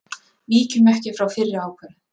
Víkjum ekki frá fyrri ákvörðun